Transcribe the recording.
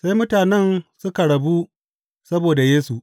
Sai mutanen suka rabu saboda Yesu.